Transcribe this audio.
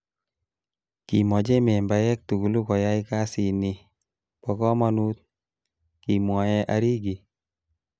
'Kimoche membaek tugul koyai kasini bo komonut,''Kimwoe Arigi.